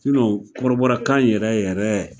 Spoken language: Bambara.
kɔrɔbɔra kan yɛrɛ yɛrɛ